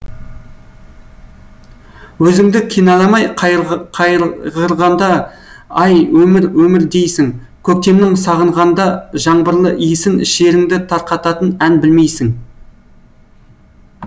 өзіңді кінәламай қайғырғандаай өмір өмір дейсің көктемнің сағынғанда жаңбырлы иісін шеріңді тарқататын ән білмейсің